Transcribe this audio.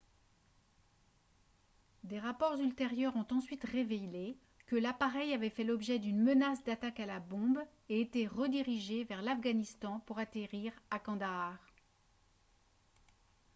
des rapports ultérieurs ont ensuite révélé que l'appareil avait fait l'objet d'une menace d'attaque à la bombe et été redirigé vers l'afghanistan pour atterrir à kandahar